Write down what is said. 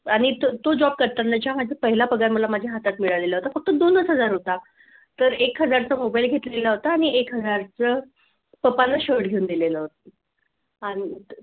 तो job करताना जेव्हा माझ्या पहिला पगार मला माझ्या हातात मिळालेला होता. फक्त दोनच हजार होता तर एक हजार चा मोबाईल घेतलेला होता आणि एक हजार च पप्पांना shirt घेऊन दिलेल होत आणि